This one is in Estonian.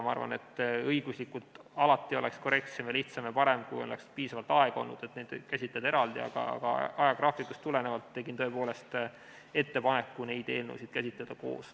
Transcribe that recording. Ma arvan, et õiguslikult oleks alati korrektsem, lihtsam ja parem, kui oleks piisavalt aega, et neid käsitleda eraldi, aga ajagraafikust tulenevalt tegin tõepoolest ettepaneku neid eelnõusid käsitleda koos.